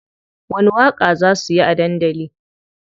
Wani waƙa za suyi a dandali?